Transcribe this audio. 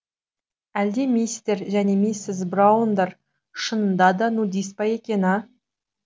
әлде мистер және миссис браундар шынында да нудист па екен а